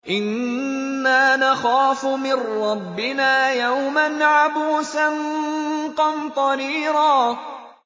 إِنَّا نَخَافُ مِن رَّبِّنَا يَوْمًا عَبُوسًا قَمْطَرِيرًا